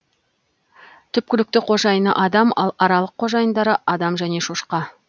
түпкілікті қожайыны адам ал аралық қожайындары адам және шошқа